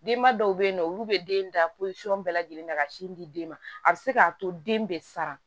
Denba dɔw bɛ yen nɔ olu bɛ den da bɛɛ lajɛlen na ka sin di den ma a bɛ se k'a to den bɛ sara